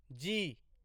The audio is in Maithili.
जी